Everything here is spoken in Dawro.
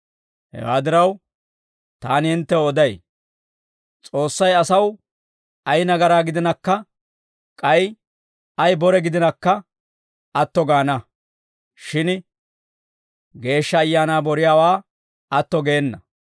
Hewaa diraw, taani hinttew oday; S'oossay asaw ay nagaraa gidinakka, k'ay ay bore gidinakka atto gaana; shin Geeshsha Ayaanaa boriyaawaa atto geena.